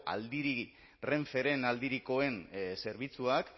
renferen aldirikoen zerbitzuak